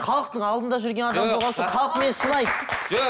халықтың алдында жүрген адам болған соң халық мені сыйлайды жоқ